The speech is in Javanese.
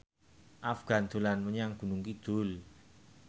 Afgan dolan menyang Gunung Kidul